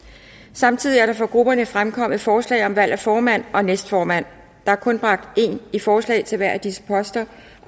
samtidig er der fra grupperne fremkommet forslag om valg af formand og næstformand der er kun bragt én i forslag til hver af disse poster